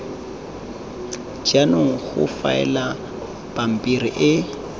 jaanong go faelwa pampiri e